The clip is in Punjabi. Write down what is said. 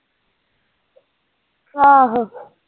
ਆਹੋ।